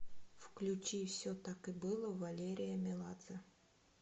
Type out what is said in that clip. включи все так и было валерия меладзе